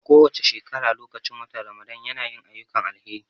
A kowace shekara lokacin watan Ramadan ya na yin ayyukan alheri